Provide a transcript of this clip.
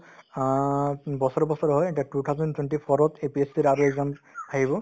অ, um বছৰে বছৰে হয় two thousand twenty four ত APSC ৰ আৰু exam আহিব